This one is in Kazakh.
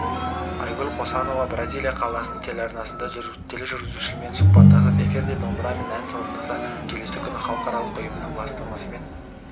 айгүл қосанова бразилия қаласының телеарнасында тележүргізушімен сұхбаттасып эфирде домбырамен ән орындаса келесі күні халықаралық ұйымының бастамасымен